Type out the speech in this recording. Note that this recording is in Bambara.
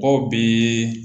Aw bi